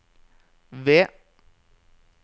ved